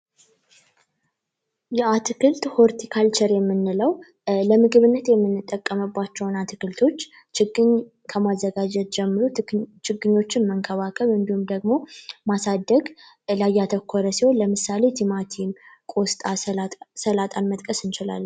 የአትክልት ሆልቲ ካልቸር የምንለው ለምግብነት የምንጠቀምባቸውን አትክልቶች ችግኝ ከማዘጋጀት ጀምሮ ችግኞችን መንከባከብ እንዲሁም ደግሞ፤ ማሳደግ ላይ ያተኮረ ሲሆን ለምሳሌ ቲማቲም፣ ቆስታ፤ ሰላጣን መጥቀስ እንችላለን።